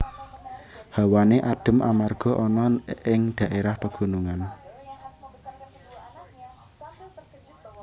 Hawane adhem amarga ana ning daérah pagunungan